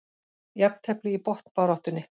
Jafntefli í botnbaráttunni